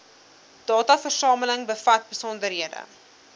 dataversameling bevat besonderhede